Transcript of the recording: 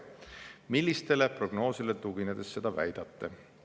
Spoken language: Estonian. Millistele prognoosidele tuginedes seda väidate?